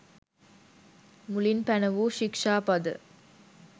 මුලින් පැනවූ ශික්‍ෂාපද